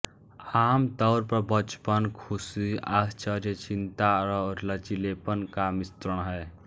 आम तौर पर बचपन ख़ुशी आश्चर्य चिंता और लचीलेपन का मिश्रण है